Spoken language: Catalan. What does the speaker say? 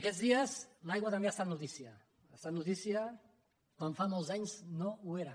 aquests dies l’aigua també ha estat notícia ha estat notícia com fa molts anys no ho era